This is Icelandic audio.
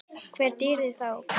Hvar býrðu þá?